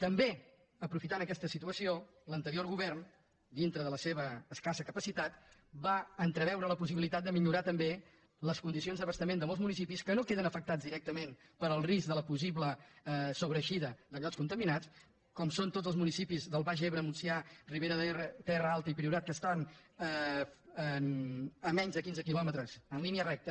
també aprofitant aquesta situació l’anterior govern dintre de la seva escassa capacitat va entreveure la possibilitat de millorar també les condicions d’abastament de molts municipis que no queden afectats directament pel risc de la possible sobreeixida de llots contaminats com són tots els municipis del baix ebre montsià ribera d’ebre terra alta i priorat que estan a menys de quinze quilòmetres en línia recta